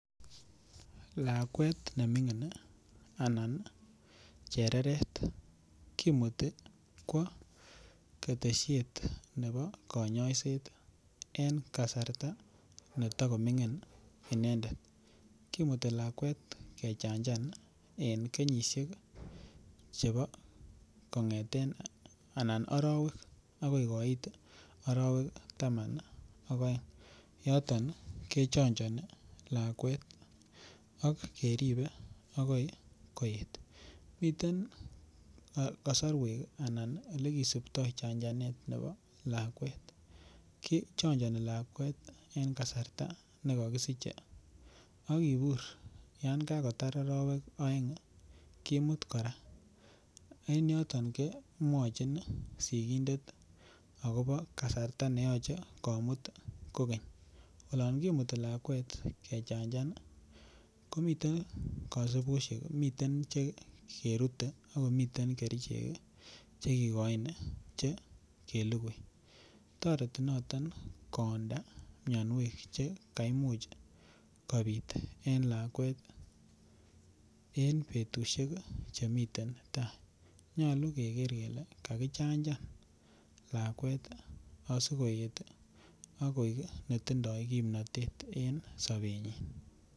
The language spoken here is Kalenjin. Lakwet nemingin anan chereret kimuti kwo ketesiet nebo kanyaiset en kasarta neto komingin inendet kimuti lakwet kechanjan en kenyisiek chebo arawek agoi koit arawek taman ak aeng yoton kechanjani lakwet ak keribe agoi koet miten kasarwek anan Ole kisiptoi chanjanet nebo lakwet kichojoni lakwet en kasarta nekokisiche ak kibur yon kagotar arawek aeng kimut kora en yoton kemwochin sikindet agobo kasarta ne yoche komut kogeny olon kimuti lakwet kechanjan komiten kasubosiek miten Che kerute ak komiten kerichek Che kigoin Che kelugui toreti noton koonda mianwek Che kaimuch kobit en lakwet en butusiek Che miten tai nyolu keger kele kakichanjan lakwet asi koet ak koek netindoi kimnatet en sobenyin